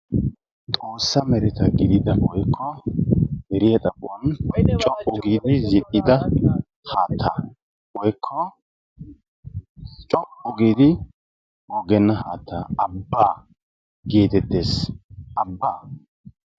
Xoossa mereta gidida woykko deriya xaphon co'u giidi zin''da haattaa woykko co''u giidi goggenna haattaa Abbaa geetetees. Abbaa.